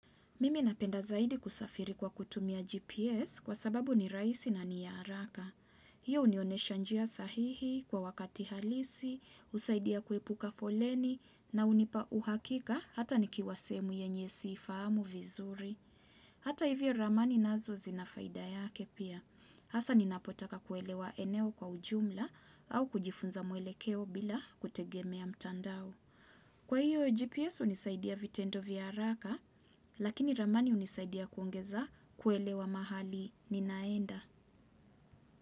Mimi napenda zaidi kusafiri kwa kutumia GPS kwa sababu ni rahisi na ni yaharaka. Hiyo unionesha njia sahihi kwa wakati halisi, usaidia kuepuka foleni na unipa uhakika hata nikiwasehemu yenyewe siifahamu vizuri. Hata hivyo ramani nazo zinafaida yake pia. Asa ninapotaka kuelewa eneo kwa ujumla au kujifunza mwelekeo bila kutegemea mtandao. Kwa hiyo, GPS unisaidia vitendo vya haraka, lakini ramani unisaidia kuongeza kuelewa mahali ninaenda.